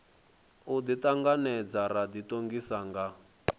u ḓiṱanganedza ra ḓiṱongisa nga